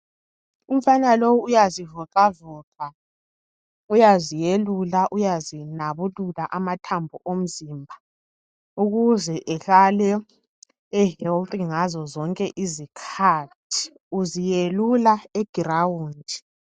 Umfana lowu uyazivocavoca uyazelula uyazinabulula amathambo omzimba ukuze ehlale ehealth ngazozonke izikhathi. Uzelula eground.